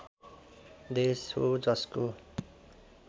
देश हो जसको